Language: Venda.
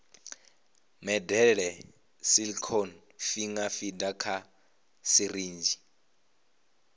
medela silicone finger feeder kha sirinzhi